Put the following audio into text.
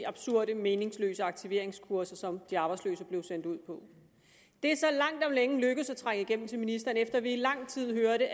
absurde og meningsløse aktiveringskurser som de arbejdsløse blev sendt ud på det er så langt om længe lykkedes at trænge igennem til ministeren efter at vi i lang tid